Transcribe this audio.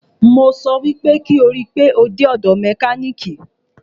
Mo sọ pé kí o rí pe o dé ọ̀dọ̀ mẹkánìkì!